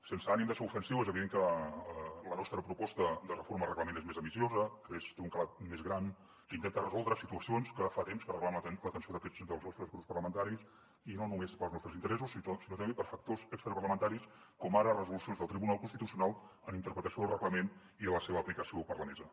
sense ànim de ser ofensiu és evident que la nostra proposta de reforma del reglament és més ambiciosa que té un calat més gran que intenta resoldre situacions que fa temps que reclamen l’atenció dels nostres grups parlamentaris i no només pels nostres interessos sinó també per factors extraparlamentaris com ara resolucions del tribunal constitucional en interpretació del reglament i de la seva aplicació per la mesa